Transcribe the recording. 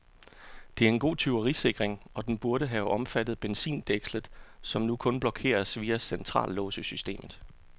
Det er en god tyverisikring, og den burde have omfattet benzindækslet, som nu kun blokeres via centrallåssystemet.